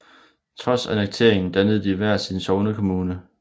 Trods annekteringen dannede de hver sin sognekommune